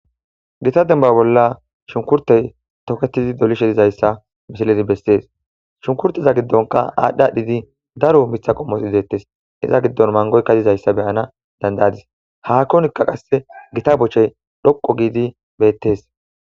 Gita dembba bolla shunkkurttey toketizi dolishe dizayssa misilezi bessees. Shunkurteza giddonka aadhdhi adhidi daro mitha qommozi deettes. Iza giddon mangoyka dizayssa be7ana danda7adis. haakonikka qasse gita bochey dhoqqu gidi beettes.